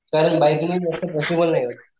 कारण बाइक नि जास्त पॉसिबल नाही.